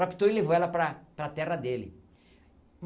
Raptou e levou ela para a para a terra dele.